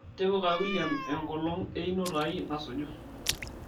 tipika william enkolong' einoto ai nasuju